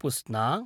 पुस्ना